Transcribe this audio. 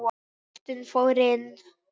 Boltinn fór inn.